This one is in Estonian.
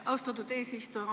Austatud eesistuja!